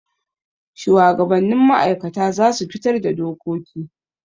Shuwagabannin ma'aikata za su fitar da dokoki.